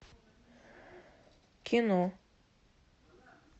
кино